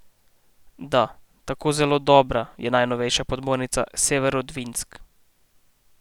Da, tako zelo dobra je najnovejša podmornica Severodvinsk.